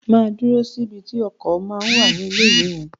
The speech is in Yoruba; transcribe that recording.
Máa dúró síbi tí ọkọ̀ ma ń wà ní ilé ìwé yín.